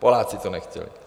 Poláci to nechtěli.